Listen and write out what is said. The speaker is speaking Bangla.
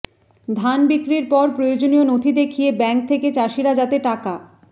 ধান বিক্রির পরে প্রয়োজনীয় নথি দেখিয়ে ব্যাঙ্ক থেকে চাষিরা যাতে টাকা